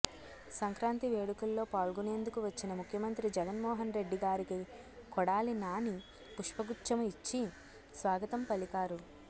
సంక్రాంతి వేడుకల్లో పాల్గొనేందుకు వచ్చిన ముఖ్యమంత్రి జగన్ మోహన్ రెడ్డి గారికి కొడాలి నాని పుష్పగుచ్ఛము ఇచ్చి స్వాగతం పలికారు